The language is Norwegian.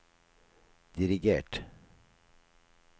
dirigert